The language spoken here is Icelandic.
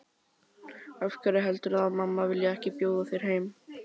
Af hverju heldurðu að mamma vilji ekki bjóða þér heim?